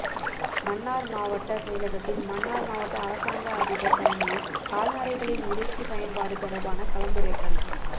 மன்னார் மாவட்ட செயலகத்தில் மன்னார் மாவட்ட அரசாங்க அதிபர் தலைமையில் கால்நடைகளின் இறைச்சி பயன்பாடு தொடர்பான கலந்துரையாடல்